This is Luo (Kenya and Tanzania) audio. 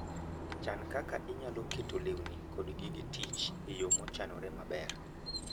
Chan kaka inyalo keto lewni kod gige tich e yo mochanore maber.